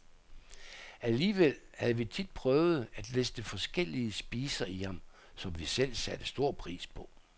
Alligevel havde vi tit prøvet at liste forskellige spiser i ham, som vi selv satte stor pris på.